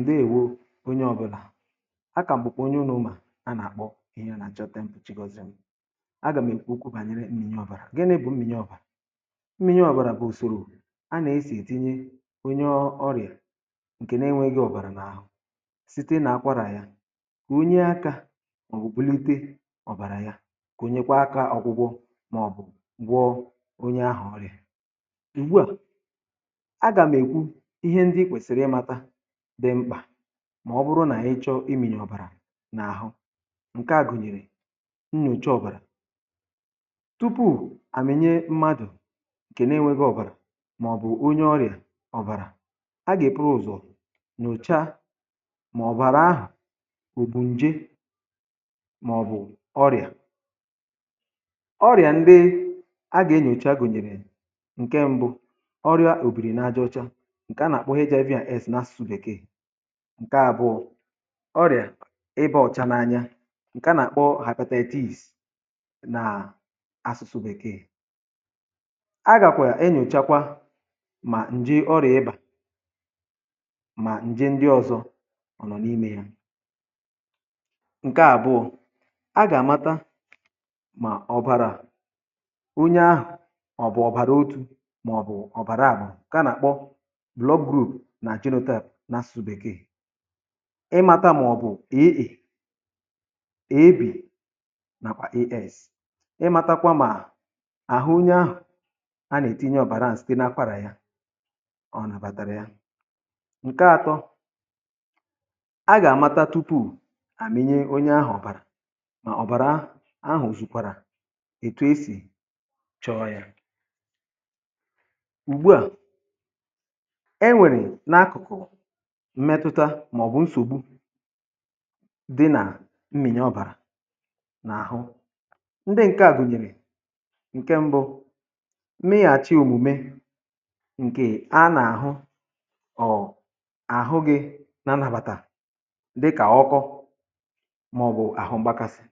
ǹdewo onye ọbụlà a kà mbụ̀kpọ̀ onye ọ̀nụụ̇ um mà a nà-àkpọ ịnọ nà-àchọte mpchì gozì m a gà m èkwukwu bànyere mmịnye ọ̀bàrà gaa n’ebe mmịnye ọ̀bàrà mmịnye ọ̀bàrà bụ ùsòrò a nà-esì ètinye onye ọ̀rịà ǹkè nà enweghị ọ̀bàrà n’àhụ site nà akwara ya um onye aka ọ̀bụ̀kpụlite ọ̀bàrà ya kà o nyekwa aka ọgwụgwọ màọbụ̀ gwọ̀ onye ahụ̀ ọ̀rịà ùgbu à dị̀ mkpà mà ọ bụrụ nà ị chọ̇ imi̇nyè ọ̀bàrà n’àhụ ǹke a gụ̀nyèrè nnọ̀cha ọ̀bàrà tupuù à mènye mmadụ̀ ǹkè nà-enwėghi̇ ọ̀bàrà màọ̀bụ̀ onye ọrịà ọ̀bàrà a gà-èkpụrụ̇ ụ̀zọ̀ nọ̀cha màọ̀bụ̀ àrà ahà ò bù ǹje màọ̀bụ̀ ọrịà ọrịà ndị a gà-enyòcha gụ̀nyèrè ǹke mbụ ọrịà òbìrì nà aja ọ̀cha ǹke àbụọ ọrịà ibe ọ̀cha n’anya ǹke à nà-àkpọ hapụtata eti̇is na asụ̇sụ̇ bèkee a gàkwà e nyochakwa mà ǹjie ọrịà ibà mà ǹjie ndị ọ̀zọ ọ̀ nọ̀ n’imė ya um ǹke àbụọ a gà-àmata mà ọ̀bàrà onye ahụ̀ ọ̀bụ̀ ọ̀bàrà otu mà ọ̀bụ̀ ọ̀bàrà àbụà ǹke à nà-àkpọ nà genetap nà sụ̀ bèkee ị mata màọ̀bụ̀ eė ẹ̀bẹ̀ nàkwà es ị matakwa mà àhụ onye ahụ̀ a nà ètinye ọ̀bàra ǹsị̀ dị n’akwarà ya ọ nàbàtàrà ya ǹke atọ a gà àmata tupu à mẹnye onye ahụ̀ ọ̀bàrà mà ọ̀bàra ahụ̀ òzùkwàrà ètù e sì chọọ ya ùgbu à mmetụta màọbụ̀ nsògbu di nà mmị̀nyè ọ̀bàrà n’àhụ ndị ǹke a gụ̀nyèrè ǹke mbụ mmị̀ghà̀chị̀ òmùme ǹkè a nà-àhụ ọ̀ àhụ gị̇ nà nàbàtà ndị kà ọkọ màọbụ̀ àhụ mgbȧkàsị̀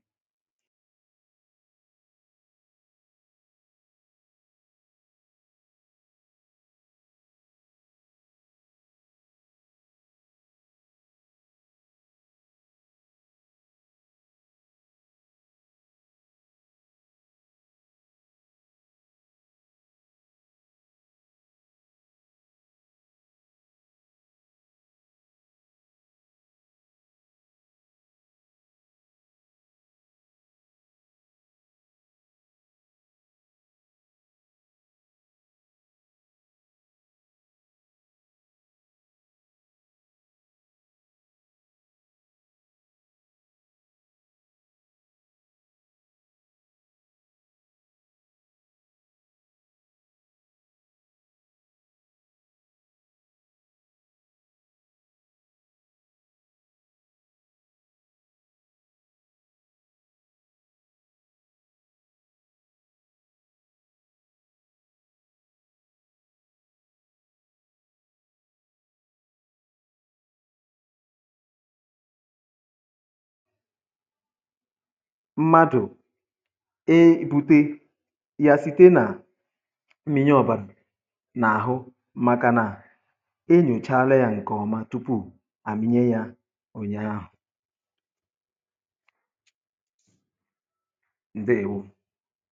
màkà òdiri speed ahù o jì à gba ọsọ̇ o yà ẹ̀ mẹru ezigbote àhu ọ nàà di mmȧ kà ànyi gwakwa umùakȧ nà i gbȧ òdiri ọsọ̇ à a naà dicha mmȧ um màkà i daàdà kòtere ònwegi̇ òfu nsògbu i gȧ hȧ pùtawu nà ya mmadụ̀ e bùte ya site nà mmịnye ọbȧlị̀ nà-àhụ maka nà enyòchala ya ǹkọ̀ọma tupu à mịnye ya ọ̀ nyȧahụ̀